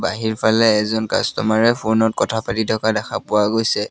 বাহিৰফালে এজন কাষ্টমাৰে ফ'নত কথা পাতি থকা দেখা পোৱা গৈছে।